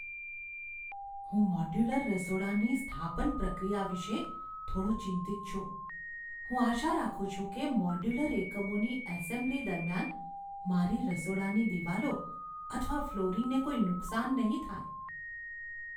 હું મોડ્યુલર રસોડાની સ્થાપન પ્રક્રિયા વિશે થોડો ચિંતિત છું. હું આશા રાખું છું કે મોડ્યુલર એકમોની એસેમ્બલી દરમિયાન મારી રસોડાની દિવાલો અથવા ફ્લોરિંગને કોઈ નુકસાન નહીં થાય.